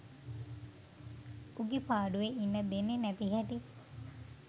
උගේ පාඩුවෙ ඉන්න දෙන්නෙ නැති හැටි